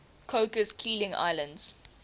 cocos keeling islands